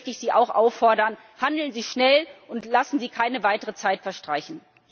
Und deswegen möchte ich Sie auch auffordern Handeln Sie schnell, und lassen Sie keine weitere Zeit verstreichen!